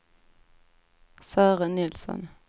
Sören Nilsson